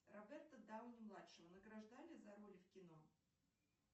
роберто дауни младшего награждали за роли в кино